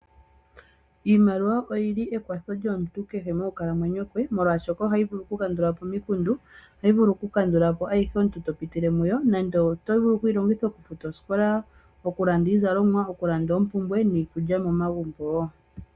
Iimaliwa oyili ekwatho lyomuntu kehe moku kalamwenyo kwe, molwaashoka ohayi vulu oku kandulapo omikundu. Ohayi vulu oku kandulapo ayihe omuntu to pitile muyo. Nando oto vulu okuyi longitha oku futa osikola, okulanda iizalomwa, okulanda oompumbwe niikulya momagumbo woo.